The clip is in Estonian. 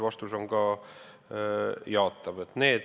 Vastus on ka jaatav.